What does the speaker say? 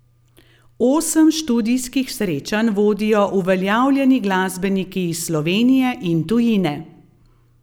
Osem študijskih srečanj vodijo uveljavljeni glasbeniki iz Slovenije in tujine.